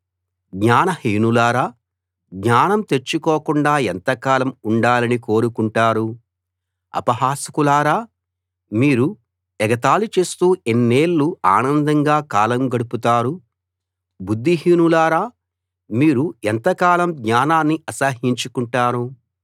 జ్ఞాన హీనులారా జ్ఞానం తెచ్చుకోకుండా ఎంతకాలం ఉండాలని కోరుకుంటారు అపహాసకులారా మీరు ఎగతాళి చేస్తూ ఎన్నేళ్ళు ఆనందంగా కాలం గడుపుతారు బుద్ధిహీనులారా మీరు ఎంతకాలం జ్ఞానాన్ని అసహ్యించుకుంటారు